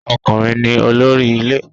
Ọkùnrin ni olórí ilé